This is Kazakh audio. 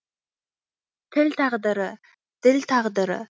тіл тағдыры діл тағдыры